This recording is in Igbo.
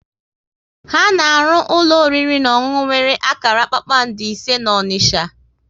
Ha na arụ ụlọ oriri na ọṅụnụ nwere akara kpakpando ise n'Onisha